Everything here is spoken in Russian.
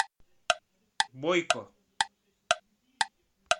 бойко